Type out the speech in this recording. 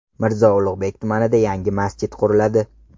Mirzo Ulug‘bek tumanida yangi masjid quriladi.